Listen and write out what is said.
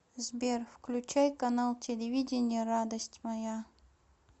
сбер включай канал телевидения радость моя